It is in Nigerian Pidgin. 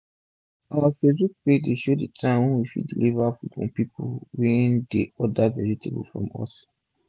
our facebook page dey show d time wey we fit deliver food for pipu wey dey order vegetable from us